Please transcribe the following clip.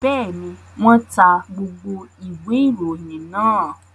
Bẹ́ẹ̀ ni, wọ́n ta gbogbo ìwé-ìròyìn náà.